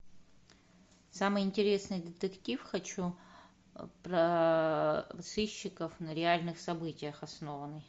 самый интересный детектив хочу про сыщиков на реальных событиях основанный